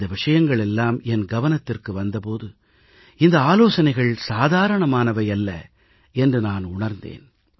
இந்த விஷயங்கள் எல்லாம் என் கவனத்திற்கு வந்த போது இந்த ஆலோசனைகள் சாதாரணமானவை அல்ல என்று நான் உணர்ந்தேன்